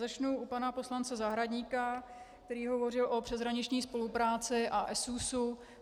Začnu u pana poslance Zahradníka, který hovořil o přeshraniční spolupráci a ESÚS.